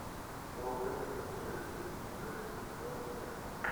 бруклин девять девять сезон шесть